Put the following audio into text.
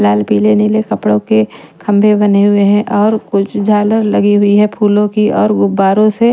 लाल पीले नीले कपड़ों के खंभे बने हुए हैं और कुछ झालर लगी हुई है फूलों की और गुब्बारों से--